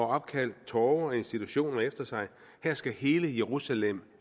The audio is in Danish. opkaldt torve og institutioner efter sig her skal hele jerusalem